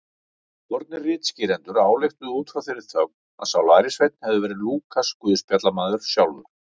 Fornir ritskýrendur ályktuðu út frá þeirri þögn að sá lærisveinn hefði verið Lúkas guðspjallamaður sjálfur.